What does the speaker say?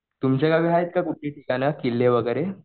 तुमच्या गावी आहेत का ठिकाणं किल्ले वगैरे